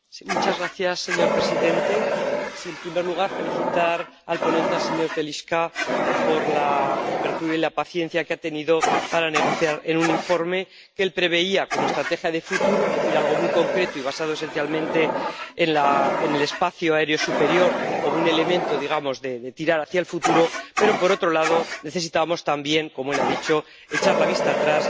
Señor presidente, en primer lugar felicitar al ponente, el señor Telička, por la apertura y la paciencia que ha tenido para negociar en un informe que él preveía como estrategia de futuro, es decir, algo muy concreto y basado esencialmente en el espacio aéreo superior como un elemento de tirar hacia el futuro, aunque, por otro lado, necesitábamos también —como él ha dicho— echar la vista atrás y adoptar un